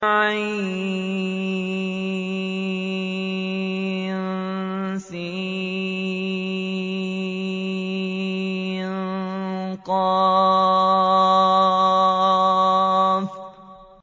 عسق